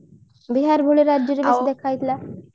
ବିହାର ଭଳି ରାଜ୍ୟରେ ବେଶୀ ଦେଖା ଯାଇଥିଲା